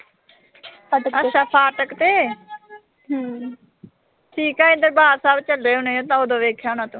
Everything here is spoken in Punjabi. ਅੱਛਾ ਫਾਟਕ ਤੇ। ਠੀਕ ਆ ਅਸੀਂ ਦਰਬਾਰ ਸਾਹਿਬ ਚੱਲੇ ਹੋਣੇ, ਉਦੋਂ ਦੇਖਿਆ ਹੋਣਾ ਤੂੰ।